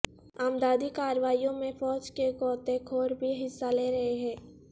امدادی کارروائیوں میں فوج کے غوطہ خور بھی حصہ لے رہے ہیں